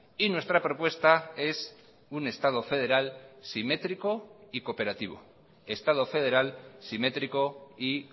nuestra propuesta es un estado federal simétrico y